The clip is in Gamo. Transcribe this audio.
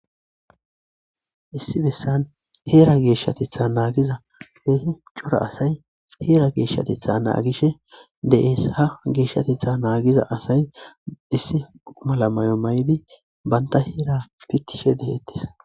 issi bessan heera geeshshatitha naagiza heehu cora asay heera geeshshatitha naagishe deesha geeshshatitha naagiza asay issi mala may7o may7idi banta heera pittishe deheettis